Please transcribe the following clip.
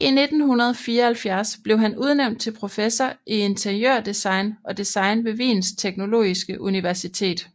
I 1974 blev han udnævnt til professor i interiørdesign og design ved Wiens teknologiske universitet